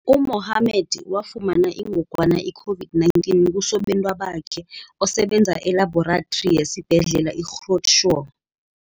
U-Mohammed wafumana ingogwana i-COVID-19 kusobentwabakhe, osebenza elabhorathri yesiBhedlela i-Groote Schuur.